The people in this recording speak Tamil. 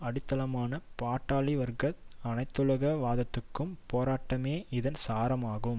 அடித்தளமான பாட்டாளிவர்க்க அனைத்துலக வாதத்துக்கான போராட்டமே இதன் சாரம் ஆகும்